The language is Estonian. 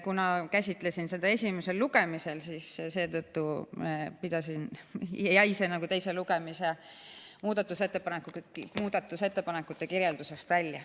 Kuna käsitlesin seda esimesel lugemisel, jäi see mul teise lugemise ettekande muudatusettepanekute kirjeldusest välja.